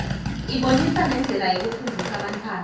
ibonisa nendlela yokufundzisa bantfwana